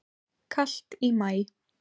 Kalt í maí